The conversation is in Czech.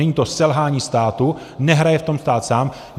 Není to selhání státu, nehraje v tom stát sám.